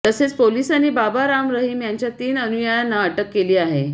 तसेच पोलिसांनी बाबा राम रहीम याच्या तीन अनुयायांना अटक केली आहे